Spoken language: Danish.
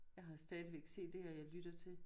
Jeg har stdigvæk CDer jeg lytter til